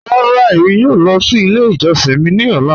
Rárá, èmi yòò lọ sí ilẹ̀ ìjọ̀ṣin mi ni ọ̀lá.